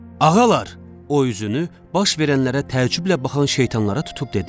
Ağalar, o üzünü baş verənlərə təəccüblə baxan şeytanlara tutub dedi.